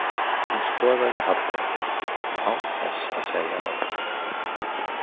Hún skoðaði Hallvarð betur, án þess að segja orð.